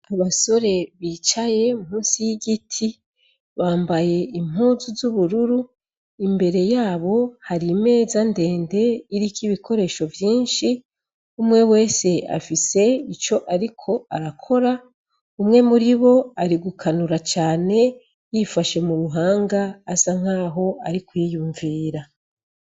Abasore bicaye munsi y'igiti. Bambaye impuzu z'ubururu imbere yabo hari meza ndende iriko ibikoresho mvyinshi. Umwe wese afise ico ariko arakora umwe muri bo arigukanura cane yifashe mu buhanga asa nkaho ariko yiyumvira.